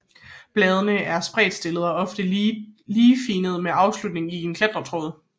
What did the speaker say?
Bladene er spredtstillede og oftest ligefinnede med afslutning i en klatretråd